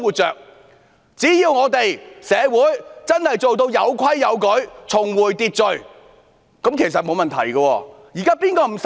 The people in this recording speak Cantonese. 只要社會真的做到有規有矩，重回秩序，其實是沒有問題的。